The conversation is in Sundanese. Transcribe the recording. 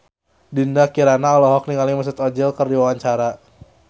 Dinda Kirana olohok ningali Mesut Ozil keur diwawancara